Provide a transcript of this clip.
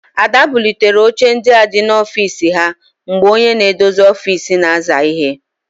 Ada bulitere oche ndị áhụ̀ dị n'ofiisi ha mgbe onye na-edozi ofisi na-aza íhé.